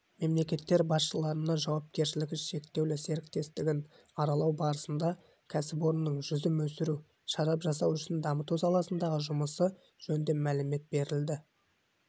мемлекеттер басшыларына жауапкершілігі шектеулі серіктестігін аралау барысында кәсіпорынның жүзім өсіру шарап жасау ісін дамыту саласындағы жұмысы жөнінде мәлімет берілді